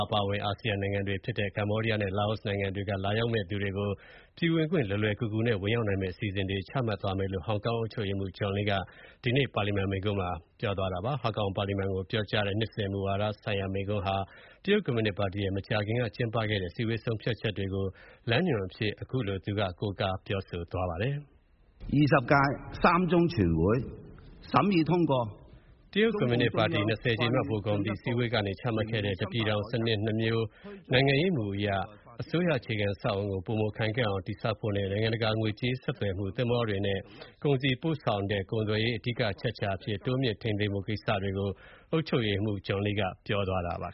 အပါအဝင် အာဆီယံနိုင်ငံတွေ ဖြစ်တဲ့ ကမ္ဘောဒီးယားနဲ့ လာအိုနိုင်ငံတွေက လာရောက်မယ့်သူတွေကို ပြည်ဝင်ခွင့် လွယ်လွယ်ကူကူနဲ့ ဝင်ရောက်နိုင်မယ့် အစီအစဉ်တွေ ချမှတ်သွားမယ့်အကြောင်း ဟောင်ကောင် အုပ်ချုပ်ရေးမှုး John Lee က ဒီနေ့ ပါလီမန်မှာ ပြောကြားတဲ့ မူဝဒါဆိုင်ရာ မိန့်ခွန်းမှာ ထည့်သွင်း ပြောဆိုသွားပါတယ်။ ဟောင်ကောင် ပါလီမန်ကို ပြောကြားတဲ့ နှစ်စဉ် မူဝါဒဆိုင်ရာ မိန့်ခွန်းဟာ တရုတ် ကွန်မြူနစ် ပါတီရဲ့ မကြာခင်က ကျင်းပခဲ့တဲ့ အစည်းအဝေးဆုံးဖြတ်ချက်တွေကို လမ်းညွန်ချက်အဖြစ် ကိုးကား ပြောဆိုသွားပါတယ်။ တရုတ် ကွန်မြူနစ်ပါတီ ၂၀ ကြိမ်မြောက် ဗဟိုကော်မတီ အစည်းအဝေးကနေ ချမှတ်ခဲ့တဲ့ တပြည်ထောင် စနစ် ၂ မျိုး နိုင်ငံရေးမူအရ အစိုးရအခြေခံအဆောက်အအုံကို ပိုမိုခိုင်ခန့်အောင် တည်ဆောက်ဖို့နဲ့ နိုင်ငံတကာ ငွေကြေး ဆက်သွယ်မှု၊ သင်္ဘောတွေနဲ့ ကုန်စည်ပို့ဆောင်တဲ့ ကုန်သွယ်ရေး အဓိက အချက်အခြာအဖြစ် တိုးမြှင့်ထိန်းသိမ်းဖို့ ကိစ္စတွေကို အုပ်ချုပ်ရေးမှုး John Lee က ပြောဆိုသွားပါ